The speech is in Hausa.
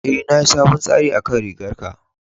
E, na yi sabon tsari akan rigan ka.